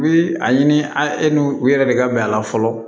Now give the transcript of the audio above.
U bi a ɲini an e n'u u yɛrɛ de ka bɛn a la fɔlɔ